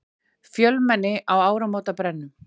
Fjölmenni á áramótabrennum